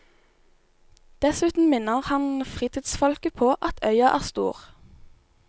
Dessuten minner han fritidsfolket på at øya er stor.